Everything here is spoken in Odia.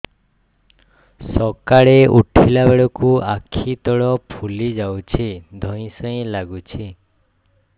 ସକାଳେ ଉଠିଲା ବେଳକୁ ଆଖି ତଳ ଫୁଲି ଯାଉଛି ଧଇଁ ସଇଁ ଲାଗୁଚି